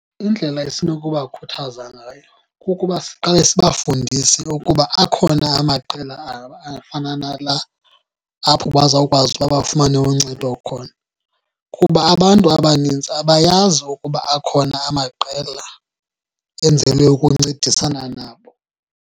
Indlela esinokuba khuthaza ngayo kukuba siqale sibafundise ukuba akhona amaqela afana nala, apho bazawukwazi uba bafumane uncedo khona, kuba abantu abanintsi abayazi ukuba akhona amaqela enzelwe ukuncedisana nabo.